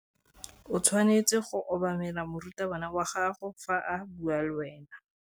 O tshwanetse go obamela morutabana wa gago fa a bua le wena.